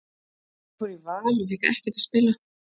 Ég fór í Val og fékk ekkert að spila.